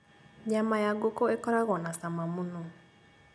Nyama ya ngũkũ ĩkoragwo na cama mũno